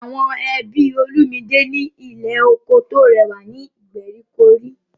Àwọn ẹbí Olumide ní ilé oko tó rẹwà ní ìgbèríko rí.